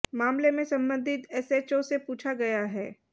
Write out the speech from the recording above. मामले में संबंधित एसएचओ से पूछा गया है